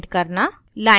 line addressing